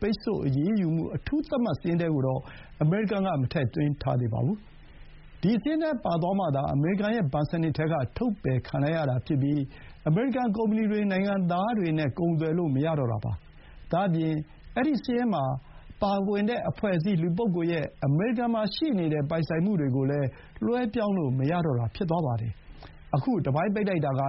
ပိတ်ဆို့အရေးယူမှုအထူးသတ်မှတ် စာရင်းထဲကိုတော့ မထည့်သွင်းသေးပါဘူး။ ဒီစာရင်းထဲပါသွားမှသာ အမေရိကန်ရဲ့ဘဏ်စနစ်ထဲက ထုတ်ပယ်ခံလိုက်ရတာဖြစ်ပြီး၊ အမေရိကန် ကုမ္ပဏီတွေ၊ နိုင်ငံသားတွေနဲ့ ကုန်သွယ်လို့ မရတော့တာပါ။ ဒါ့အပြင် အဲဒီစာရင်းပါအဖွဲ့အစည်း လူပုဂ္ဂိုလ်ရဲ့ အမေရိကန်မှာရှိတဲ့ ပိုင်ဆိုင်မှုတွေကိုလည်း လွှဲပြောင်းလို့ မရတော့တာ ဖြစ်သွားမှာပါ။ ခု တပိုင်းပိတ်လိုက်တာမှာ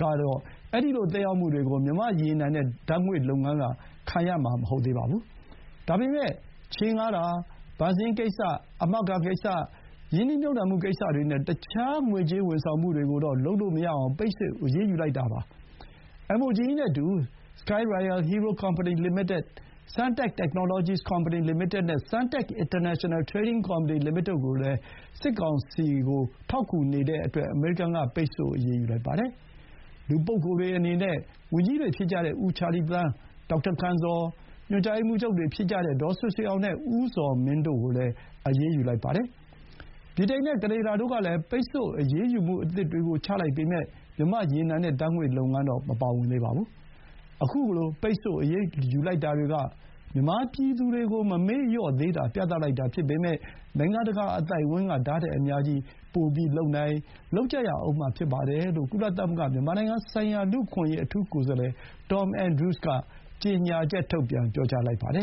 တော့ အဲဒီလို သက်ရောက်မှုကို မြန်မာ့ရေနံနဲ့ ဓာတ်ငွေ့လုပ်ငန်းက ခံရမှာမဟုတ်သေးပါဘူး။ ဒါပေမဲ့ ချေးငှားတာ၊ ဘဏ်စာရင်းကိစ္စ၊ အာမခံကိစ္စ၊ ရင်းနှီးမြှုပ်နှံမှု ကိစ္စတွေနဲ့ တခြား ငွေကြေးဝန်ဆောင်မှုတွေကိုတော့ လုပ်လို့မရအောင် ကန့်သတ်အရေးယူလိုက်တာပါ။ Sky Royal Hero Company Limited, Suntac Technologies Company Limited နဲ့ Suntac International Trading Company Limited တို့ကိုတော့ စစ်ကောင်စီ ကို ထောက်ကူနေတဲ့အတွက် အမေရိကန်ပြည်ထောင်စုရဲ့ SDN လို့ခေါ်တဲ့ အရေးယူပိတ်ဆို့မှုအထူးသတ်မှတ်ချက်စာရင်းထဲ ထည့်သွင်းအရေးယူလိုက်ပါတယ်။ လူပုဂ္ဂိုလ်အနေနဲ့ ဝန်ကြီးတွေဖြစ်ကြတဲ့ ဦးချာလီသန်း၊ ဒေါက်တာ ကံဇော်၊ ညွှန်ကြားရေးမှူးချုပ်တွေဖြစ်ကြတဲ့ ဒေါဆွေဆွေအောင်နဲ့ ဦးဇော်မင်းတို့ကိုလည်း SDN စာရင်းထဲ ထည့်သွင်းအရေးယူလိုက်ပါတယ်။ ဗြိတိန် နဲ့ ကနေဒါတို့ကလည်း ပိတ်ဆို့အရေးယူမှု အသစ်တွေကို ချလိုက်ပေမဲ့ မြန်မာ့ရေနံနဲ့ ဓာတ်ငွေ့လုပ်ငန်း မပါဝင်သေးပါဘူး။ ခုလို ပိတ်ဆို့အရေးယူလိုက်တာတွေက မြန်မာပြည်သူတွေကို မမေ့လျော့သေးတာ ပြသလိုက်တာဖြစ်ပေမဲ့ နိုင်ငံတကာအသိုက်အဝန်းက ဒါ့ထက်အများကြီး ပိုလုပ်နိုင်၊ လုပ်ကြရဦးမှာဖြစ်ပါတယ်လို့ ကုလသမဂ္ဂ မြန်မာနိုင်ငံဆိုင်ရာ လူ့အခွင့်အရေး အထူးကိုယ်စားလှယ် Tom Andrews က ကြေညာချက် ထုတ်ပြန်ပြောလိုက်ပါတယ